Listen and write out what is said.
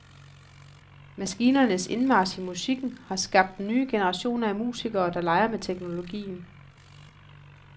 Maskinernes indmarch i musikken har skabt nye generationer af musikere, der leger med teknologien.